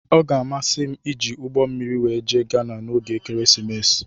Ọ ga-amasị m iji ụgbọ mmiri wee jee ghana na ógè ekeresimesi.